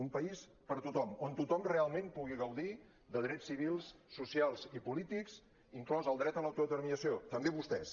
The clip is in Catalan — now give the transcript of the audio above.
un país per a tothom on tothom realment pugui gaudir de drets civils socials i polítics inclòs el dret a l’autodeterminació també vostès